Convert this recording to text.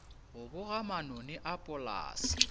go boga manoni a polase